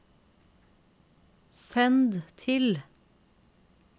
send til